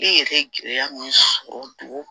E yɛrɛ ye gɛlɛya min sɔrɔ dugu